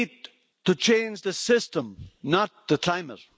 We need to change the system, not the climate.